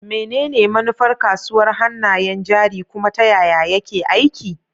Menene manufar kasuwar hannayen jari, kuma ta yaya yake aiki?